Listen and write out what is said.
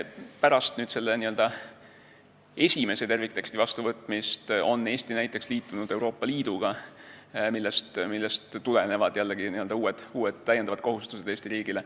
Pärast esimese tervikteksti vastuvõtmist on Eesti ühinenud Euroopa Liiduga, millest on tulenenud täiendavad kohustused Eesti riigile.